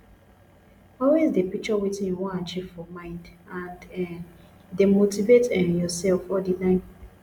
always de picture wetin you won achieve for mind and um de motivate um yourself all the time